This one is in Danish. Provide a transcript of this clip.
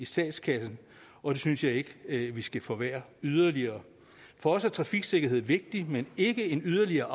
statskassen og det synes jeg ikke vi skal forværre yderligere for os er trafiksikkerhed vigtigt men ikke en yderligere